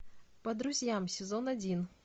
по друзьям сезон один